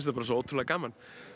bara svo ótrúlega gaman